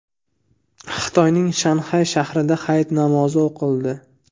Xitoyning Shanxay shahrida hayit namozi o‘qildi .